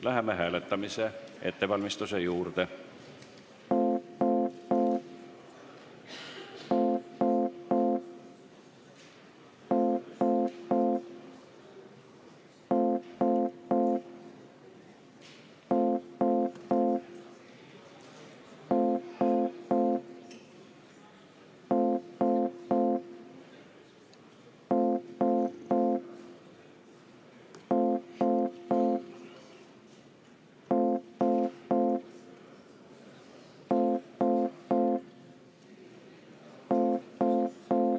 Läheme hääletuse ettevalmistamise juurde.